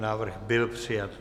Návrh byl přijat.